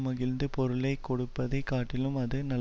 மகிழ்ந்து பொருளை கொடுப்பதை காட்டிலும் அது நல்